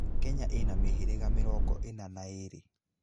Kenya ĩ na mĩhĩrĩga mĩrongo ĩna na ĩĩrĩ